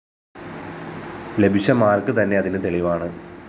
ലഭിച്ച മാര്‍ക്ക് തന്നെ അതിന് തെളിവാണ്